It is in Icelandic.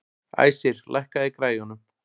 Æsir, lækkaðu í græjunum.